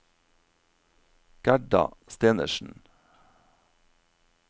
Gerda Stenersen